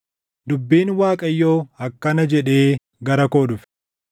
Dubbiin Waaqayyoo akkana jedhee gara koo dhufe: